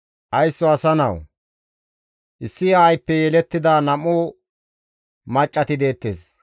«Haysso asa nawu! Issi aayppe yelettida nam7u maccati deettes.